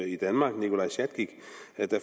i danmark nikolaj sjatskikh